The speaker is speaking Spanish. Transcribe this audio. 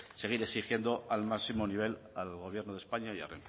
seguir exigiendo al máximo nivel al gobierno de españa y a